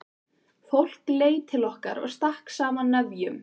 Fólk leit til okkar og stakk saman nefjum.